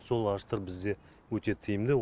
сол ағаштар бізде өте тиімді